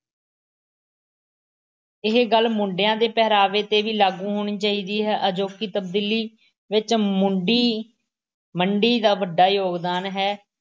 ਇਹ ਗੱਲ ਮੁੰਡਿਆਂ ਦੇ ਪਹਿਰਾਵੇ ਤੇ ਵੀ ਲਾਗੂ ਹੋਣੀ ਚਾਹੀਦੀ ਹੈ। ਅਜੋਕੀ ਤਬਦੀਲੀ ਵਿੱਚ ਮੁੰਡੀ ਮੰਡੀ ਦਾ ਵੱਡਾ ਯੋਗਦਾਨ ਹੈ